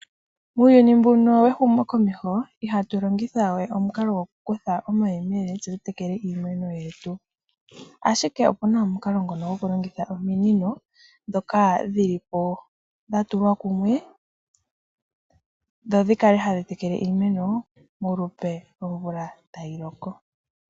Muuyuni mbuno wehumokomeho ihatu longitha we omukalo gwokukutha omayemele tse tu tekele iimeno yetu. Ashike otuna omikalo ngono gwokulongitha ominino, ndhoka dhili po dhatulwa kumwe, dho dhikale hadhi tekele tekele iimeno, molupe lwomvula tayi loko.